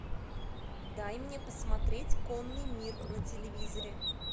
дай мне посмотреть конный мир на телевизоре